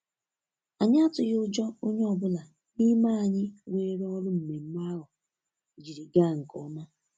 Anyị atụghị ụjọ-onye ọ bụla n'ime anyị weere ọrụ mmemme ahụ jiri gaa nke ọma